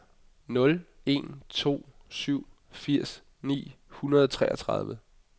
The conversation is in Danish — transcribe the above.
nul en to syv firs ni hundrede og treogtredive